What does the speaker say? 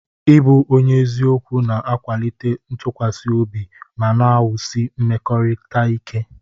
Ịbụ onye eziokwu na-akwalite ntụkwasị obi ma na-ewusi mmekọrịta ike.